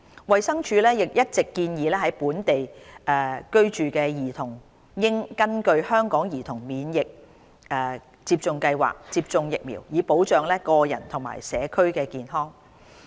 衞生署一直建議，在本地居住的兒童應根據香港兒童免疫接種計劃接種疫苗，以保障個人及社區健康。